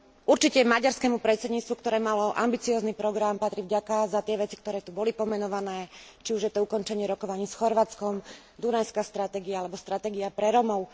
Určite maďarskému predsedníctvu, ktoré malo ambiciózny program, patrí vďaka za tie veci, ktoré tu boli pomenované, či už je to ukončenie rokovaní s Chorvátskom, Dunajská stratégia alebo Stratégia pre Rómov.